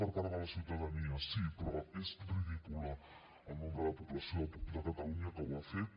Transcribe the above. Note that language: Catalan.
per part de la ciutadania sí però és ridícul el nombre de població de catalunya que ho ha fet